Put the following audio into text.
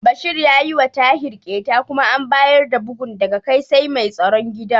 Bashir ya yiwa Tahir ƙyeta kuma an bayar da bugun daga kai sai mai tsaron gida.